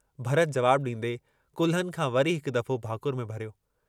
भरत जवाबु डींदे कुल्हनि खां वरी हिकु दफ़ो भाकुर में भरियो।